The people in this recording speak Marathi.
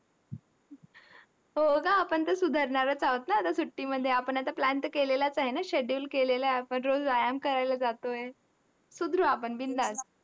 हो गं, आपण तर सुधारणारच आहोत ना आता सुट्टीमध्ये. आपण आता plan तर केलेलाच आहे ना, schedule केलेला आपण रोज व्यायाम करायला जातोय. सुधरू आपण बिन्दास्त.